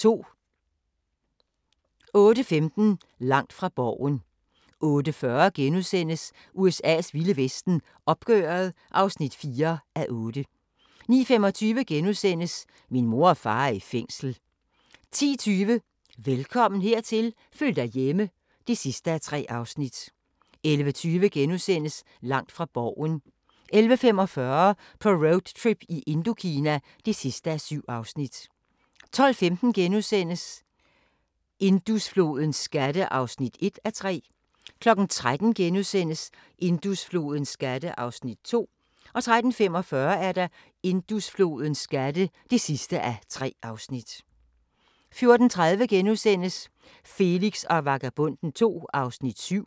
08:15: Langt fra Borgen 08:40: USA's vilde vesten: Opgøret (4:8)* 09:25: Min mor og far er i fængsel * 10:20: Velkommen hertil – føl dig hjemme (3:3) 11:20: Langt fra Borgen * 11:45: På roadtrip i Indokina (7:7) 12:15: Indusflodens skatte (1:3)* 13:00: Indusflodens skatte (2:3)* 13:45: Indusflodens skatte (3:3)* 14:30: Felix og Vagabonden II (7:10)*